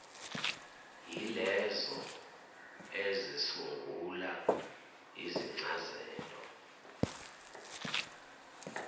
yilezo ezisungula izincazelo